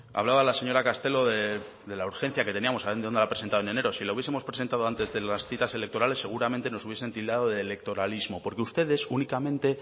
hablaba la señora castelo de la urgencia que teníamos habiéndola no presentado en enero si la hubiesemos presentado antes de las citas electorales seguramente nos hubieran tildado de electoralismo porque ustedes únicamente